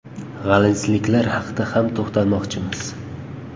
G‘alizliklar haqida ham to‘xtalmoqchimiz.